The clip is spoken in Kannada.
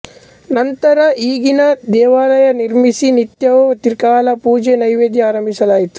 ನಂತರ ಈಗಿನ ದೇವಾಲಯ ನಿರ್ಮಿಸಿ ನಿತ್ಯವೂ ತ್ರಿಕಾಲ ಪೂಜೆ ನೈವೇದ್ಯ ಅರಂಭಿಸಲಾಯಿತು